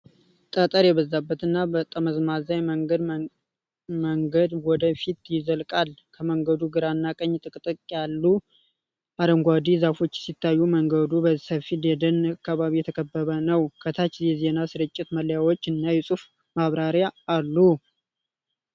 ጠጠር የበዛበት እና ጠመዝማዛ የመንደር መንገድ ወደ ፊት ይዘልቃል። ከመንገዱ ግራና ቀኝ ጥቅጥቅ ያሉ አረንጓዴ ዛፎች ሲታዩ፣ መንገዱ በሰፊ የደን አካባቢ የተከበበ ነው። ከታች የዜና ስርጭት መለያዎች እና የጽሑፍ ማብራሪያ አሉ።